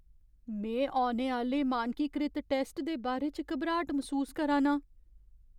में औने आह्‌ले मानकीकृत टैस्ट दे बारे च घबराट मसूस करा ना आं।